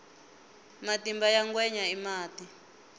matimba ya ngwenya i mati